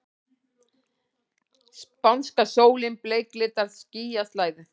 Spánska sólin bleiklitar skýjaslæðu.